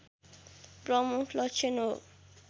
प्रमुख लक्षण हो